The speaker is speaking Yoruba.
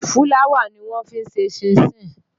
Fúláwà ni wọ́n fi ń ṣe ṣínṣin.